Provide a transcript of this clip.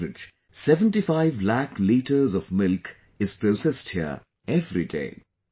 On an average, 75 lakh liters of milk is processed here everyday